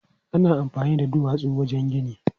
Ana amfani da duwatsu wajen gini.